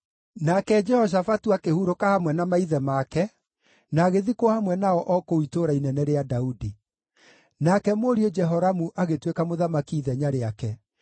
Nake Jehoshafatu akĩhurũka hamwe na maithe make na agĩthikwo hamwe nao o kũu Itũũra Inene rĩa Daudi. Nake mũriũ Jehoramu agĩtuĩka mũthamaki ithenya rĩake.